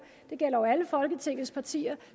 det gælder jo alle folketingets partier